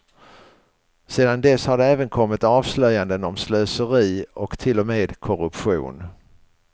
Sedan dess har det även kommit avslöjanden om slöseri och till och med korruption.